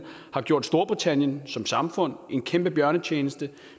har gjort storbritannien som samfund en kæmpe bjørnetjeneste